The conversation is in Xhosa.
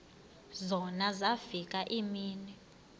zona zafika iimini